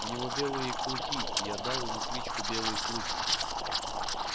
у него белые клыки и я дал ему кличку белый клык